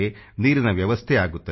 ನೀರಿನ ವ್ಯವಸ್ಥೆ ಆಗುತ್ತದೆ